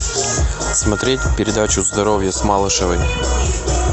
смотреть передачу здоровье с малышевой